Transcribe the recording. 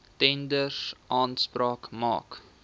tenders aanspraak maak